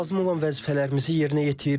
Lazım olan vəzifələrimizi yerinə yetiririk.